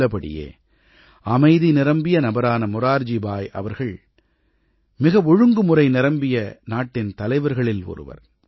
உள்ளபடியே அமைதி நிரம்பிய நபரான மொரார்ஜி பாய் அவர்கள் மிக ஒழுங்குமுறை நிரம்பிய நாட்டின் தலைவர்களில் ஒருவர்